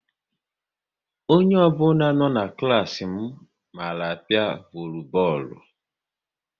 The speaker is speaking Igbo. Onye ọ bụla na n'klas m mara apia volubọọlu